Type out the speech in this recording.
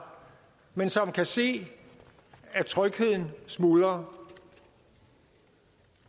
men som kan se at trygheden smuldrer